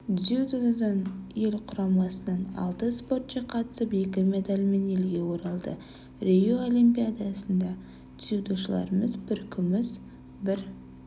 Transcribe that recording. дзюдодан ел құрамасынан алты спортшы қатысып екі медальмен елге оралды рио олимпиадасында дзюдошыларымыз бір күміс бір